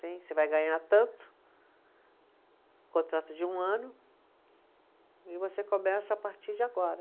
Você vai ganhar tanto, contrato de um ano, e você começa a partir de agora.